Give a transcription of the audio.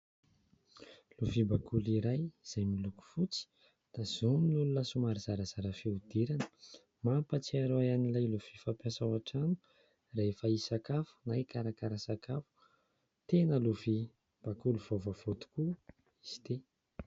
Lovia bakoly iray izay miloko fotsy, tazomin'olona somary zarazara fihodirana. Mampahatsiaro ahy an'ilay lovia fampiasa ao an-trano rehefa hisakafo na hikarakara sakafo. Tena lovia bakoly vaovao tokoa izy ity.